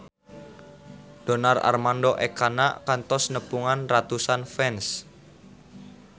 Donar Armando Ekana kantos nepungan ratusan fans